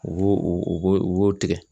U b'o u b'o tigɛ.